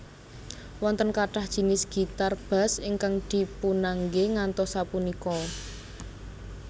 Wonten kathah jinis gitar bass ingkang dipunangge ngantos sapunika